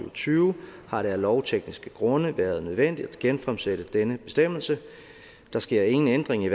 og tyve har det af lovtekniske grunde været nødvendigt at genfremsætte denne bestemmelse der sker ingen ændring i